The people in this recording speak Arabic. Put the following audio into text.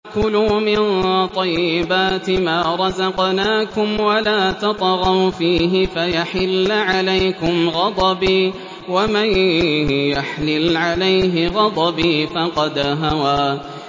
كُلُوا مِن طَيِّبَاتِ مَا رَزَقْنَاكُمْ وَلَا تَطْغَوْا فِيهِ فَيَحِلَّ عَلَيْكُمْ غَضَبِي ۖ وَمَن يَحْلِلْ عَلَيْهِ غَضَبِي فَقَدْ هَوَىٰ